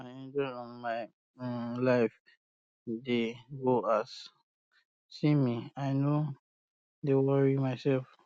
i dey enjoy um my um life dey go as you see me i no dey worry um myself